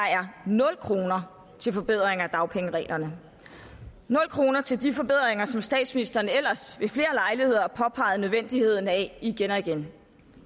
nul kroner til forbedringer af dagpengereglerne nul kroner til de forbedringer som statsministeren ellers ved flere lejligheder har påpeget nødvendigheden af igen og igen